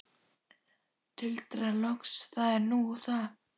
Tuldra loks: Það er nú það.